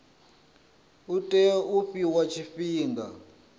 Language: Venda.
u tea u fhiwa tshifhinga